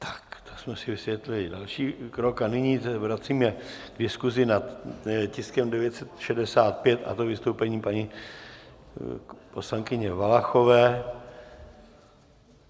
Tak, to jsme si vysvětlili další krok a nyní se vracíme k diskuzi nad tiskem 965, a to vystoupením paní poslankyně Valachové.